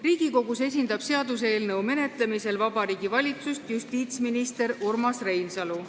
Riigikogus esindab seaduseelnõu menetlemisel Vabariigi Valitsust justiitsminister Urmas Reinsalu.